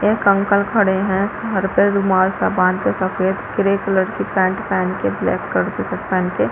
एक अंकल खड़े है घर पे रुमाल सब बांध के सफ़ेद ग्रे कलर की पेण्ट पहन के ब्लैक कलर की शर्ट पहन के --